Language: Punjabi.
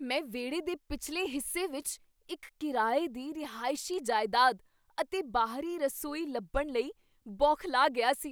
ਮੈਂ ਵਿਹੜੇ ਦੇ ਪਿਛਲੇ ਹਿੱਸੇ ਵਿੱਚ ਇੱਕ ਕਿਰਾਏ ਦੀ ਰਿਹਾਇਸ਼ੀ ਜਾਇਦਾਦ ਅਤੇ ਬਾਹਰੀ ਰਸੋਈ ਲੱਭਣ ਲਈ ਬੌਖਲਾ ਗਿਆ ਸੀ।